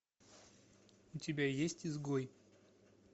у тебя есть изгой